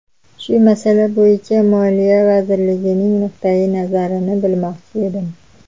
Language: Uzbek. Shu masala bo‘yicha Moliya vazirimizning nuqtayi nazarini bilmoqchi edim”.